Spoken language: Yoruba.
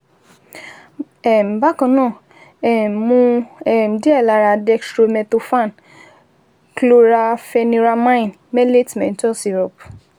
um Bákan náà, um mu um díẹ̀ lára dextromethorphan chlorampheniramine maleate menthol syrup